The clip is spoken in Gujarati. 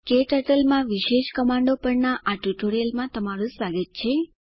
ક્ટર્ટલ માં વિશેષ કમાન્ડો પરના આ ટ્યુટોરીયલમાં તમારું સ્વાગત છે